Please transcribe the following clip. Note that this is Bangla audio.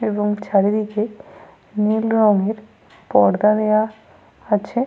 এবং চারিদিকে নীল রঙের পর্দা দেওয়া আছে।